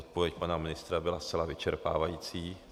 Odpověď pana ministra byla zcela vyčerpávající.